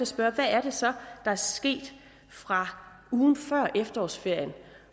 spørge hvad er det så der er sket fra ugen før efterårsferien